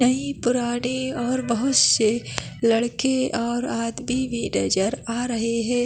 यही पुराने और बहुत से लड़के और आदमी भी नज़र आ रहे है।